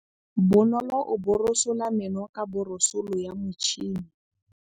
Bonolô o borosola meno ka borosolo ya motšhine.